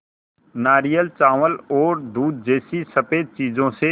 नारियल चावल और दूध जैसी स़फेद चीज़ों से